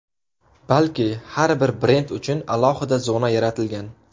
Balki, har bir brend uchun alohida zona yaratilgan.